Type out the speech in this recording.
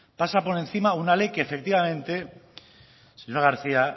pasa por encima una ley que efectivamente señora garcía